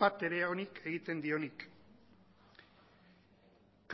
bat ere onik egiten dionik